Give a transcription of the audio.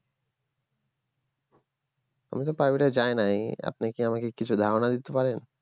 আমি তো প্রাইভেট এ যাই নাই আপনি কি আমাকে কিছু ধারণা দিতে পারেন